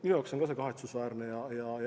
Minu jaoks on see ka kahetsusväärne.